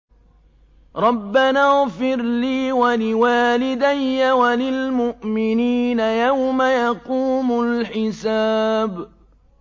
رَبَّنَا اغْفِرْ لِي وَلِوَالِدَيَّ وَلِلْمُؤْمِنِينَ يَوْمَ يَقُومُ الْحِسَابُ